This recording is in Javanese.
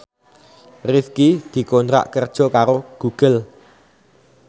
Rifqi dikontrak kerja karo Google